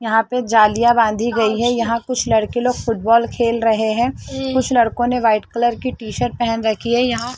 यहां पे जालियां बांधी गई है यहां कुछ लड़के लोग फुटबॉल खेल रहे हैं कुछ लड़कों ने वाइट कलर की टीशर्ट रखी है यह --